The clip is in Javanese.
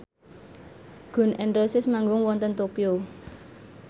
Gun n Roses manggung wonten Tokyo